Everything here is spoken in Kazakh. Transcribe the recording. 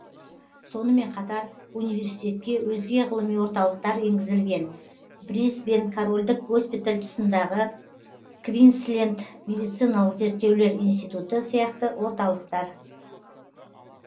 сонымен қатар университетке өзге ғылыми орталықтар енгізілген брисбен корольдік госпиталь тұсындағы квинсленд медициналық зерттеулер институты сияқты орталықтар